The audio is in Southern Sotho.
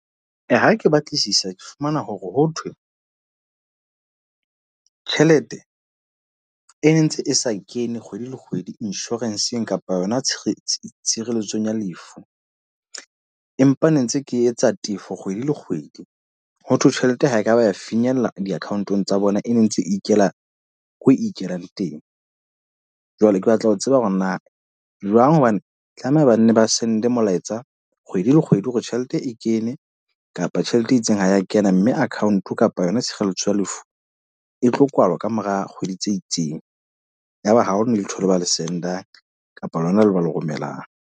Ee, ha ke batlisisa ke fumana hore ho thwe tjhelete e nentse e sa kene kgwedi le kgwedi insurance-eng kapa yona tshebetso tshireletsong ya lefu. Empa ne ntse ke etsa tefo kgwedi le kgwedi. Ho thwe tjhelete ha ekaba ya finyella di-account-ong tsa bona, e ne ntse ikela ko ikelang teng. Jwale ke batla ho tseba hore na jwang hobane tlameha banne ba send molaetsa kgwedi le kgwedi hore tjhelete e kene kapa tjhelete e itseng ha ya kena. Mme account kapa yona tshireletso ya lefu e tlo kwalwa kamora kgwedi tse itseng. Yaba haona letho le ba le send-ang kapa lona le ba le romelang.